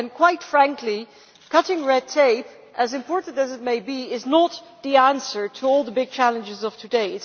Quite frankly, cutting red tape important as it may be is not the answer to all the big challenges of today.